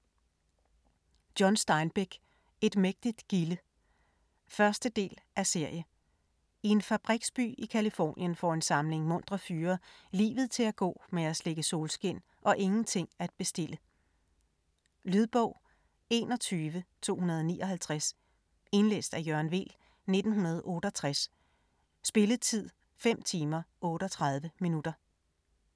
Steinbeck, John: Et mægtigt gilde 1. del af serie. I en fabriksby i Californien får en samling muntre fyre livet til at gå med at slikke solskin og ingenting at bestille. Lydbog 21259 Indlæst af Jørgen Weel, 1968. Spilletid: 5 timer, 38 minutter.